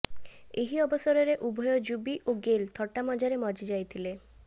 ଏହି ଅବସରରେ ଉଭୟ ଯୁବି ଓ ଗେଲ୍ ଥଟାମଜାରେ ମଜି ଯାଇଥିଲେ